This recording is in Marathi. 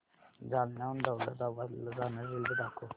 जालन्याहून दौलताबाद ला जाणारी रेल्वे दाखव